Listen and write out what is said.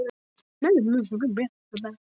En það er enginn til að líta eftir okkur.